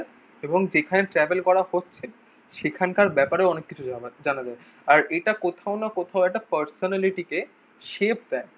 এবং যেখানে ট্রাভেল করা হচ্ছে সেখান কার ব্যাপারেও অনেক কিছু জানা জানা যায়। আর এটা কোথাও না কোথাও একটা পার্সোনালিটি তে শেপ দেয়।